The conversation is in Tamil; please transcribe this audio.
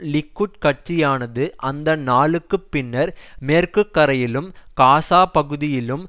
லிக்குட் கட்சியானது அந்த நாளுக்குப் பின்னர் மேற்கு கரையிலும் காசா பகுதியிலும்